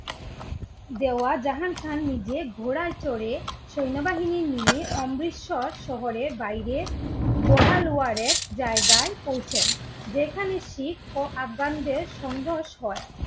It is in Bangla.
দেওয়া জাহাং খান নিজে ঘোড়ায় চড়ে সৈন্যবাহিনী নিয়ে অমৃতসর শহরের বাইরে বহাল ওয়ারের জায়গায় পৌঁছেন। যেখানে শিখ ও আফগানদের সংঘর্ষ হয়